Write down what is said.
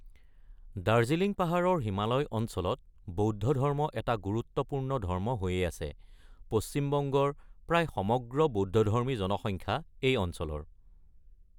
দাৰ্জিলিং পাহাৰৰ হিমালয় অঞ্চলত বৌদ্ধ ধৰ্ম এটা গুৰুত্বপূৰ্ণ ধৰ্ম হৈয়েই আছে; পশ্চিমবংগৰ প্ৰায় সমগ্ৰ বৌদ্ধধৰ্মী জনসংখ্যা এই অঞ্চলৰ।